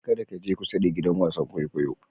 Kar ka je kusa da giɗan wasan ƙwaiƙwayo.